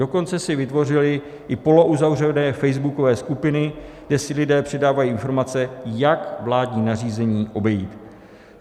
Dokonce si vytvořili i polouzavřené facebookové skupiny, kde si lidé předávají informace, jak vládní nařízení obejít.